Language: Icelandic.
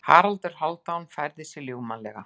Haraldur Hálfdán færði sig ljúfmannlega.